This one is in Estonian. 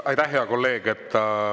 Aitäh, hea kolleeg!